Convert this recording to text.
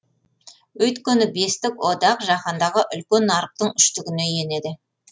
өйткені бестік одақ жаһандағы үлкен нарықтың үштігіне енеді